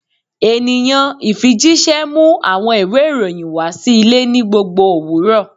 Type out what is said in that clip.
Eniyan ifijiṣẹ mu awọn iwe iroyin wa si ile ni gbogbo owurọ